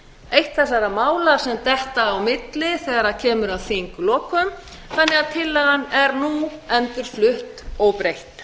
eitt þessara mála sem detta á milli þegar kemur að þinglokum þannig að tillagan er nú endurflutt óbreytt